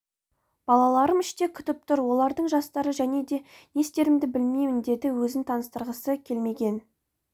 балаларым іште күтіп тұр олардың жастары және де не істерімді білмеймін деді өзін таныстырғысы келмеген